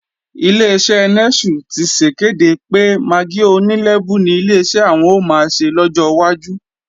Ileṣẹ́ Nẹ́sù ti sèkéde pé magí oní lẹ́bú ni Ileṣẹ́ àwọn ò máa ṣe lọ́jọ́ wájú